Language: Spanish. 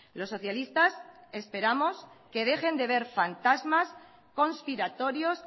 los socialistas esperamos que dejen de ver fantasmas conspiratorios